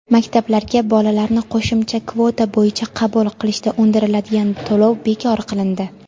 maktablarga bolalarni qo‘shimcha kvota bo‘yicha qabul qilishda undiriladigan to‘lov bekor qilindi.